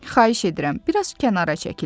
Xahiş edirəm, bir az kənara çəkilin.